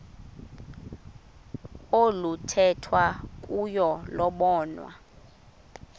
oluthethwa kuyo lobonwa